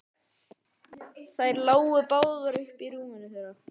Þær lágu báðar uppí rúminu þeirra.